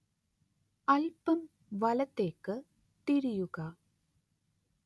അല്പം വലത്തേക്ക് തിരിയുക